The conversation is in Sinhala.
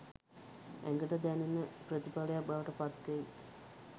ඇඟට දැනෙන ප්‍රතිඵලයක් බවට පත් වෙයි.